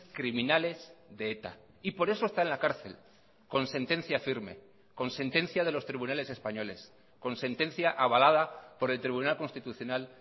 criminales de eta y por eso está en la cárcel con sentencia firme con sentencia de los tribunales españoles con sentencia avalada por el tribunal constitucional